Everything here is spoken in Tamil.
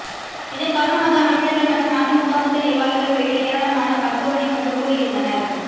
இதன் காரணமாக அமைச்சர்கள் மற்றும் அதிமுக மூத்த நிர்வாகிகள் உள்ளிட்ட ஏராளமானோர் மருத்துவமனை முன்பு கூடியிருந்தனர்